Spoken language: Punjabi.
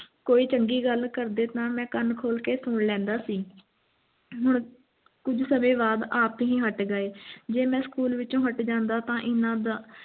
ਕੋਈ ਚੰਗੀ ਗੱਲ ਕਰਦੇ ਤੇ ਮੈਂ ਕੰਨ ਖੋਲ੍ਹ ਕੇ ਸੁਣ ਲੈਂਦਾ ਸੀ ਹੁਣ ਕੁਝ ਸਮੇਂ ਬਾਅਦ ਆਪ ਹੀ ਹਟ ਗਏ ਜੀ ਮੈਂ school ਵਿਚੋਂ ਹਟ ਜਾਂਦਾ ਤੇ ਇਨ੍ਹਾਂ ਦਾ